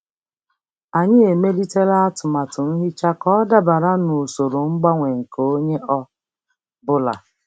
Anyị emelitere atụmatụ nhicha ka ọ dabara n'usoro mgbanwe nke onye ọ bụla.